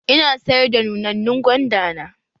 Ina sayar da nunannun gwanda na.